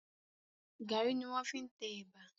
Gàrí ni wọ́n fi ń tẹ ẹ̀bà.